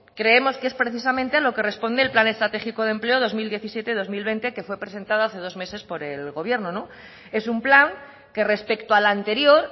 creemos que es precisamente a lo que responde el plan estratégico de empleo dos mil diecisiete dos mil veinte que fue presentado hace dos meses por el gobierno es un plan que respecto al anterior